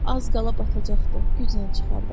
Az qala batacaqdı, güclə çıxartdıq.